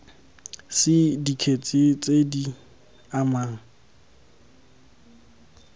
c dikgetse tse di amang